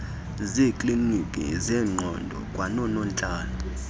zeeklinikhi zengqondo kwanoonontlalo